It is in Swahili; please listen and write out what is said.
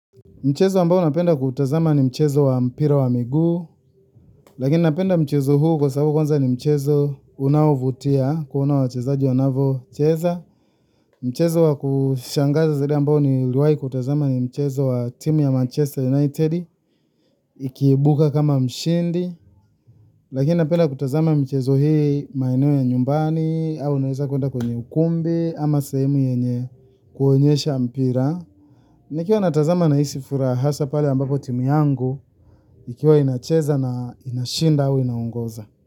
Mchezo ambao napenda kuutazama ni mchezo wa mpira wa miguu. Lakini napenda mchezo huu kwa sababu kwanza ni mchezo unaovutia kuona wachezaji wanavyocheza. Mchezo wa kushangaza zaidi ambao niliwahi kutazama ni mchezo wa timu ya Manchester United. Ikiibuka kama mshindi. Lakini napenda kutazama michezo hii maeneo ya nyumbani au unaweza kwenda kwenye ukumbi ama sehemu yenye kuonyesha mpira. Nikiwa natazama nahisi furaha hasa pale ambapo timu yangu, ikiwa inacheza na inashinda au inaongoza.